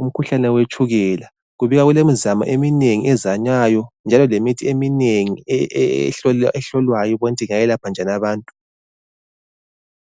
umkhuhlane wetshukela. Kubikwa kulemizamo eminengi ezanywayo njalo lemithi eminengi ehlolwayo ukuthi ingayelapha njani abantu.